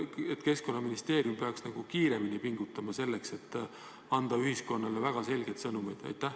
Kas Keskkonnaministeerium ei peaks kiiremini tegutsema ja rohkem pingutama, et anda ühiskonnale väga selgeid sõnumeid?